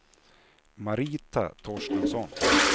Marita Torstensson